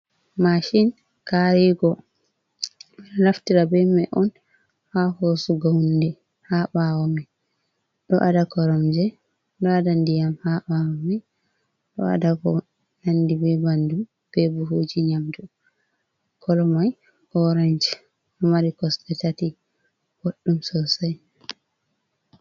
Mashin karigo. Ɗo naftire be mai on haa hoosugo hunde ha ɓawo mai, ɗo ada koromje ɗo ada ndiyam ha ɓawo mai, ɗo ada ko nandi be banin be buhuji nyamdu. Kolo mai orench, ɗo mari kosɗe tati, boɗɗum sosai.